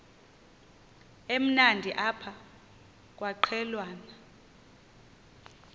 emnandi apha kwaqhelwana